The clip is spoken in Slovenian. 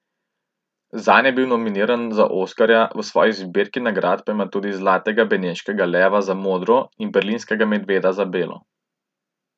Zanj je bil nominiran za oskarja, v svoji zbirki nagrad pa ima tudi zlatega beneškega leva za Modro in berlinskega medveda za Belo.